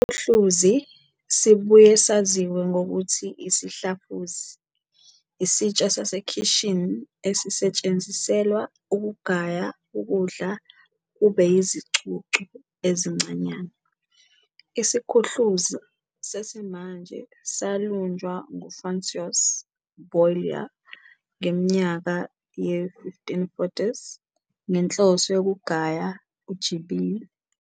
IsiKhuhluzi, sibuye saziwe ngokuthi isiHlafuzi, isitsha sasekhishini esisetshenziselwa ukugaya ukudla kube yizicucu ezincanyane. IsiKhuhluzi sesimanje salunjwa ngu-François Boullier ngeminyaka ye-1540s, ngenhloso yokugay uJibini.